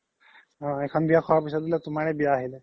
এইখন বিয়া খুৱাৰ পিছ্ত বুলে তুমাৰে বিয়া আহিলে